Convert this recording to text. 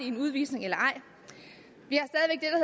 en udvisning eller ej vi